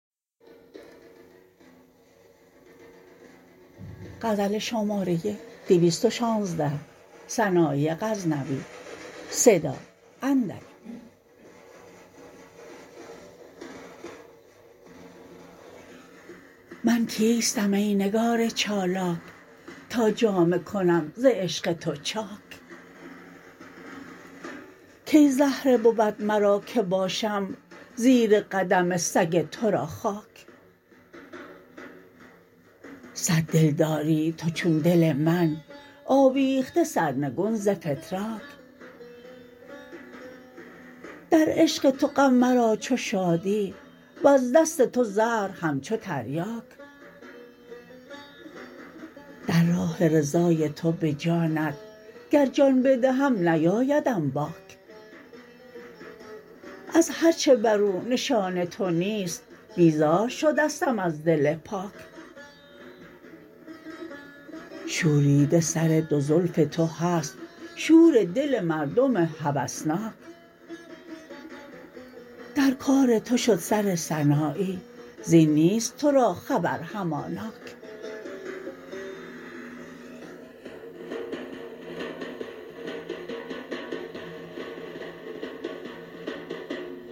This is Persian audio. من کیستم ای نگار چالاک تا جامه کنم ز عشق تو چاک کی زهره بود مرا که باشم زیر قدم سگ ترا خاک صد دل داری تو چون دل من آویخته سرنگون ز فتراک در عشق تو غم مرا چو شادی وز دست تو زهر همچو تریاک در راه رضای تو به جانت گر جان بدهم نیایدم باک از هر چه برو نشان تو نیست بیزار شدستم از دل پاک شوریده سر دو زلف تو هست شور دل مردم هوسناک در کار تو شد سر سنایی زین نیست ترا خبر هماناک